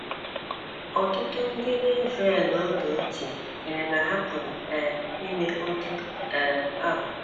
Ọtụtụ ndị n’Israel oge ochie chere na ha pụrụ um ime otú um ahụ.